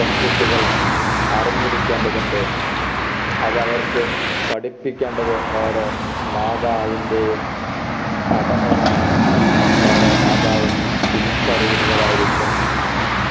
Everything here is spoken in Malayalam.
പെൺകുട്ടികൾ അറിഞ്ഞിരിക്കേണ്ടതുണ്ട് അതവർക്ക് പഠിപ്പിക്കേണ്ടത് ഓരോ മാതാവിൻറെയും കടമയാണെന്ന് ഓരോ മാതാവും തിരിച്ചറിയുന്നവരായിരിക്കും